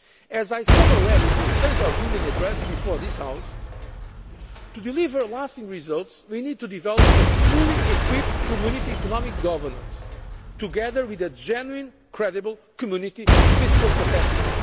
union. As I said in the State of the Union address before this House, to deliver lasting results, we need to develop a fully equipped Community economic governance, together with a genuine, credible Community fiscal capacity.